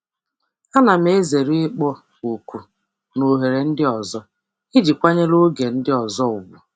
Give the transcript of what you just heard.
Ana m ezere ịkpọ oku na oghere ndị ọzọ iji kwanyere oge nke ndị ọzọ ùgwù.